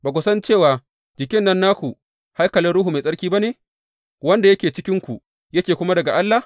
Ba ku san cewa jikin nan naku haikalin Ruhu Mai Tsarki ba ne wanda yake cikinku yake kuma daga Allah?